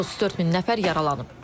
34000 nəfər yaralanıb.